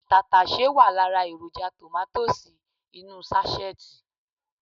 Tàtàsé wà lára èròjà tòmátósì inú ú sáṣẹ́ẹ̀tì